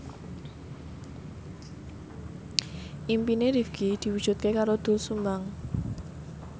impine Rifqi diwujudke karo Doel Sumbang